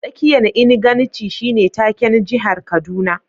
Tsakiyan inganci shine take'n jihar Kaduna.